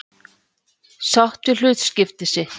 Sátt við hlutskipti sitt.